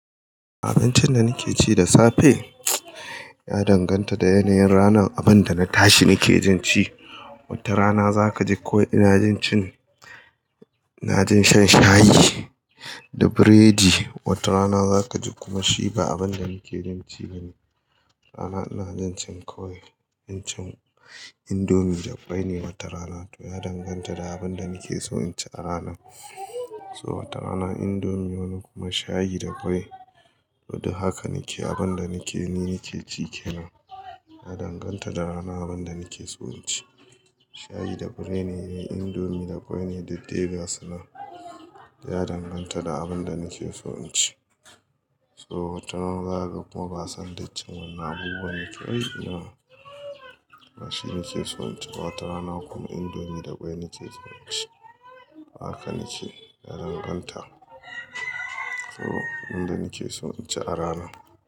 Abincin da nake ci da safe ya danganta da yanayin ranan, abin da na tashi nake jin ci. Wata rana za ka ji ko ina jin cin-- na jin shan shayi da biredi, wata rana za ka ji kuma shi ba abin da nake jin ci ne. Wata rana ina jin cin kwai, jin cin indomi da kwai ne wata rana. To ya danganta da abin da nake so in ci a rana. So wata rana indomi wani kuma shayi da kwai. To haka nake abin da nake ni nake ci ke nan. Ya danganta da rana abin da nake so in ci. Shayi da biredi ne, indomi da kwai ne, duk dai gasu nan. Ya danganta da abin da nake so in ci. So wata rana za ka kuma ba san duk cin wannan abubuwan nakeyi ba ba shi nake so in ci. Wata rana kuma indomi da kwai nakeso in ci. Haka nake ya danganta. So abin da nake so in ci a rana.